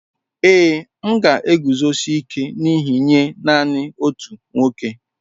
Ee, m ga-eguzosi ike n'ihe nye nanị otu nwoke.